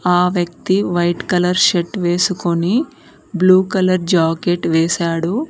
ఆ వ్యక్తి white colour shirt వేసుకొని బ్లూ కలర్ జాకెట్ వేశాడు